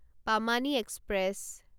Pamani express